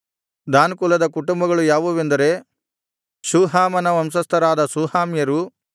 than ಕುಲದ ಕುಟುಂಬಗಳು ಯಾವುವೆಂದರೆ ಶೂಹಾಮನ ವಂಶಸ್ಥರಾದ ಶೂಹಾಮ್ಯರು